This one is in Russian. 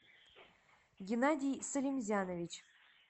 геннадий салимзянович